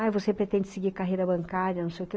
Ai, você pretende seguir carreira bancária, não sei o que?